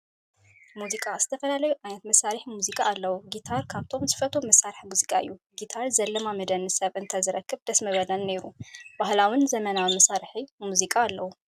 ሙዚቃ፦ ዝተፈላለዩ ዓይነታት መሳሒ ሙዚቃ ኣለው። ጊታር ካብቶም ዝፈትዎም መሳረሒ ሙዚቃ እዩ። ጊታር ዘላማምደኒ ሰብ እተዝረኽብ ደስ ምበለኒ ነይሩ። ባህላውን ዘመናዊን መሳርሒታት ሙዚቃ ኣለው።